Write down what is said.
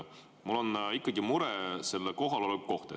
Mul on ikkagi mure selle kohaloleku pärast.